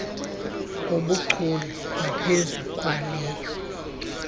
ngobuchule ngaphezu kwaleyo